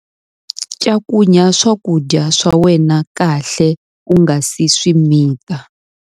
Cakunya swakudya swa wena kahle u nga si swi mita.